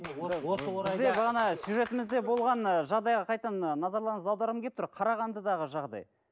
бізде бағана сюжетімізде болған ы жағдайға қайтадан назарларыңызды аударғым келіп тұр қарағандыдағы жағдай